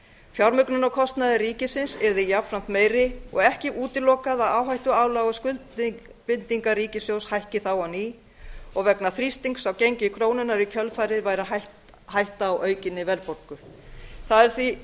fjármögnunarkostnaður ríkisins yrði jafnframt meiri og ekki útilokað að áhættuálag og skuldbindingar ríkissjóðs hækki þá á ný og vegna þrýstings á gengi krónunnar í kjölfarið væri hætta á aukinni verðbólgu það